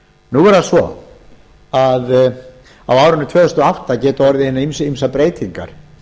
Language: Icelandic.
nú er það svo að á árinu tvö þúsund og átta geta orðið hinar ýmsu breytingar